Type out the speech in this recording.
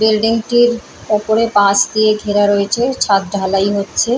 Building টির ওপরে বাঁশ দিয়ে ঘেরা রয়েছে ছাদ ঢালাই হচ্ছে।